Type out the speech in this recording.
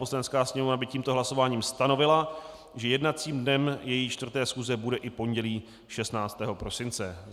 Poslanecká sněmovna by tímto hlasováním stanovila, že jednacím dnem její 4. schůze bude i pondělí 16. prosince.